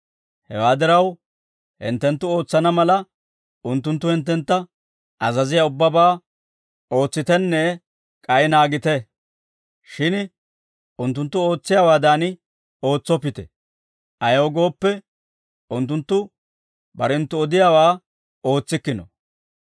Hewaa diraw, hinttenttu ootsana mala, unttunttu hinttentta azaziyaa ubbabaa ootsitenne k'ay naagite; shin unttunttu ootsiyaawaadan ootsoppite; ayaw gooppe, unttunttu barenttu odiyaawaa ootsikkino.